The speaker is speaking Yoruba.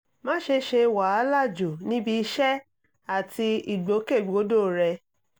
má ṣe ṣe wàhálà jù níbi iṣẹ́ àti ìgbòkègbodò rẹ